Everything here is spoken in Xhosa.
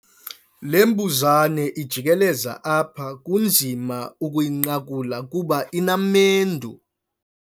Le mbuzane ijikeleza apha kunzima ukuyinqakula kuba inamendu.